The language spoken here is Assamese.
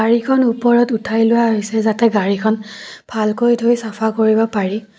গাড়ীখন ওপৰত উঠাই লোৱা হৈছে যাতে গাড়ীখন ভালকৈ ধুই চাফা কৰিব পাৰি।